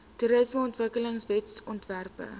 toerismeontwikkelingwetsontwerpe